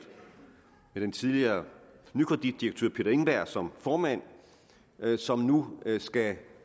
med den tidligere nykreditdirektør peter engberg som formand som nu skal